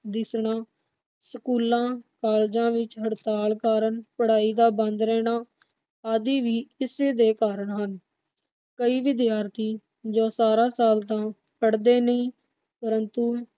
ਦਿੱਸਣਾ, ਸਕੂਲਾਂ, ਕਾਲਜਾਂ ਵਿਚ ਹੜਤਾਲ ਕਾਰਨ, ਪੜਾਈ ਦਾ ਬੰਦ ਰਹਿਣਾ ਆਦੀ ਵੀ ਇਸੇ ਦੇ ਹੀ ਕਾਰਨ ਹਨ। ਕਈ ਵਿਦਿਆਰਥੀ ਜੋ ਸਾਰਾ ਸਾਲ ਤਾ ਪੜਦੇ ਨਹੀਂ ਪਰੰਤੂ